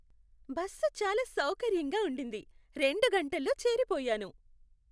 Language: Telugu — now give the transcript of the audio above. బస్సు చాలా సౌకర్యంగా ఉండింది, రెండు గంటల్లో చేరిపోయాను.